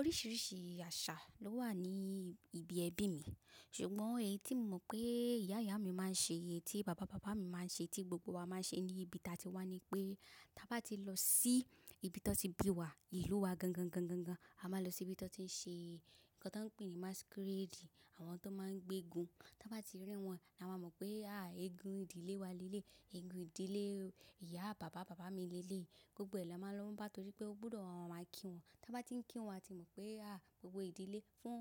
Oríṣiríṣi àṣà ló wà ní ibi ẹbí mi, ṣùgbọ́n èyí tí mo mọ̀ pé ìyá ìyá mi máa ń ṣe, èyí tí bàbá bàbá mi máa ń ṣe, tí gbogbo wa máa ń ṣe ní ibi tí a ti wá ni pé, tí a bá ti lọ sí ibi tí wọ́n ti bí wa, ìlú wa gangan gan gan gan, a máa lọ sí ibi tí wọ́n ti ń ṣe nǹkan tó ń pè ní masquerade, àwọn tó máa ń gbé eégún. Tí a bá ti rí wọn, ni a máa mọ̀ pé, ah eégún ìdílé wa lélẹ̀, eégún ìdílé ìyá bàbá bàbá mi lélẹ̀. Gbogbo ẹ̀ lọ máa ń lọ n bá, nítorí pé ó gbọ́dọ̀ máa kí wọn. Tí a bá ti ń kí wọn, a ti mọ̀ pé ah gbogbo ìdílé fún,